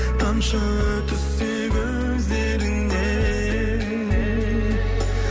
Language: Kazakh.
тамшы түссе көздеріңнен